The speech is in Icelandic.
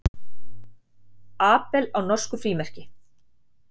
Abel á norsku frímerki.